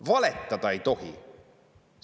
Valetada ei tohi!